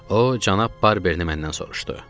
O cənab Barberini məndən soruşdu.